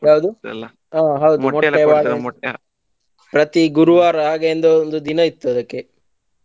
ಯಾವುದು ಆ ಹೌದು ಪ್ರತಿ ಗುರುವಾರ ಹಾಗೆಂದೆ ಒಂದು ದಿನ ಇತ್ತು ಅದಕ್ಕೆ .